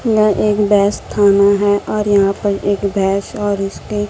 मैं एक बेस्त थाना है और यहां पर एक भैंस और उसके--